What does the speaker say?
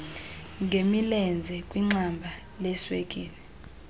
ngemilenze kwixamba leswekile